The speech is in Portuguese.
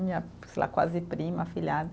Minha sei lá, quase prima, afilhada.